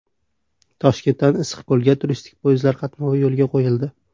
Toshkentdan Issiqko‘lga turistik poyezdlar qatnovi yo‘lga qo‘yildi.